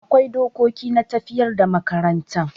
Akwai dokoki na tafiyar da makarantan.